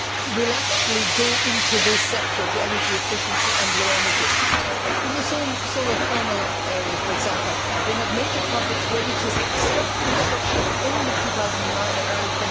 will actually go into this sector, to energy efficiency and low energy? In the solar thermal area, for example, they have major projects ready to start construction at the end of 2009 and early